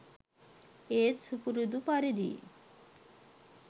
ඒත් සුපුරුදු පරිදි